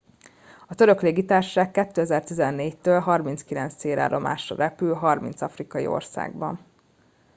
a török légitársaság 2014 től 39 célállomásra repül 30 afrikai országban